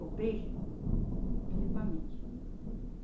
O peixe, principalmente.